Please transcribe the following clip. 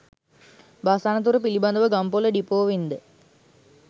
bus අනතුර පිළිබඳ ව ගම්පොල ඩිපෝවෙන් ද